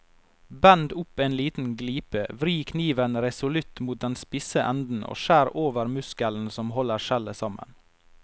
Bend opp en liten glipe, vri kniven resolutt mot den spisse enden og skjær over muskelen som holder skjellet sammen.